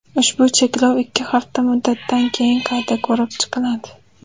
Ushbu cheklov ikki hafta muddatdan keyin qayta ko‘rib chiqiladi.